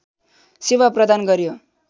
सेवा प्रदान गर्‍यो